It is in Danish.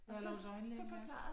Eller hos øjenlægen ja